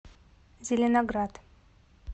зеленоград